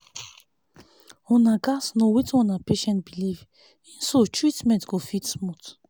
una gats know wetin una patient believe in so treatment go fit smooth